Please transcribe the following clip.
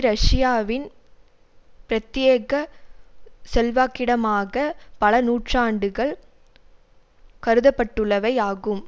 ரஷ்யாவின் பிரத்தியேக செல்வாக்கிடமாக பல நூற்றாண்டுகள் கருதப்பட்டுள்ளவை ஆகும்